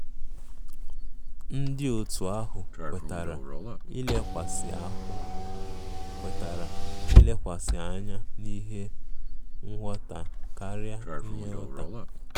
Ndi Otu ahụ kwetara ilekwasị ahụ kwetara ilekwasị anya n'ihe ngwọta karia inye ụta.